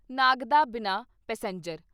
Nagda Bina passenger